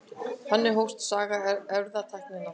Þannig hófst saga erfðatækninnar.